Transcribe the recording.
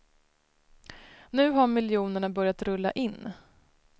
Nu har miljonerna börjat rulla in.